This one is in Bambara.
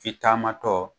Fitama tɔ